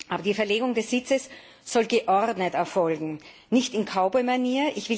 Aber die Verlegung des Sitzes soll geordnet erfolgen, nicht in Cowboy Manier.